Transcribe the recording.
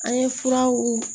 An ye furaw